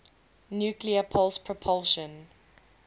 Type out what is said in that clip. nuclear pulse propulsion